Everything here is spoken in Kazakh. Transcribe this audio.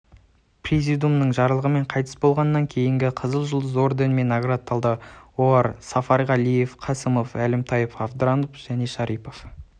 президиумының жарлығымен қайтыс болғаннан кейін қызыл жұлдыз орденімен наградталды олар сафарғалиев қасымов әлімтаев абдранов шарипов